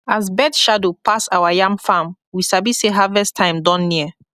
as bird shadow pass our yam farm we sabi say harvest time don near